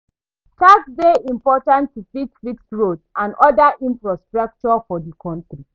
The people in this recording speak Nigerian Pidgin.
Tax dey important to fit fix road and oda infrastructure for di country